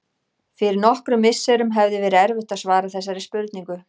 Fyrir nokkrum misserum hefði verið erfitt að svara þessari spurningu.